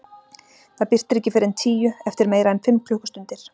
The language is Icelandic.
Það birtir ekki fyrr en tíu, eftir meira en fimm klukkustundir.